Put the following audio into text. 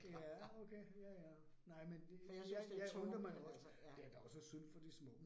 Ja, okay ja ja, nej men det jeg jeg, det er da også synd for de små